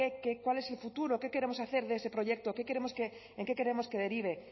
qué cuál es su futuro qué queremos hacer de ese proyecto en qué queremos que derive